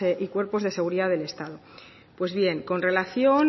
y cuerpos de seguridad del estado pues bien con relación